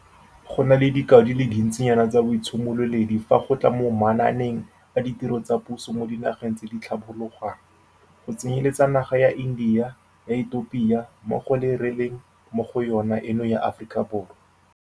Go na le dikao di le dintsinyana tsa boitshimololedi fa go tla mo manaaneng a ditiro tsa puso mo dinageng tse di tlhabologang, go tsenyeletsa naga ya India, ya Ethiopia mmogo le e re leng mo go yona eno ya Aforika Borwa.